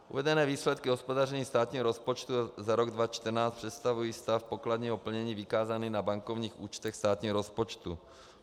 Uvedené výsledky hospodaření státního rozpočtu za rok 2014 představují stav pokladního plnění vykázaný na bankovních účtech státního rozpočtu.